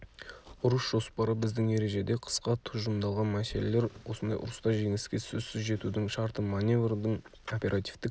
ұрыс жоспары біздің ережеде қысқа тұжырымдалған мәселелер осындай ұрыста жеңіске сөзсіз жетудің шарты маневрдің оперативтік